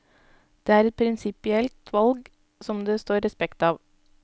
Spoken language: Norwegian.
Det er et prinsipielt valg som det står respekt av.